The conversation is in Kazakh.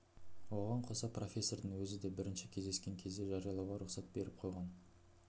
оған қоса профессордың өзі де бірінші кездескен кезде жариялауға рұқсат беріп қойған